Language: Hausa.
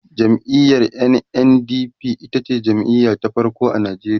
jam'iyar NNDP itace jam'iya ta farko a Nigeria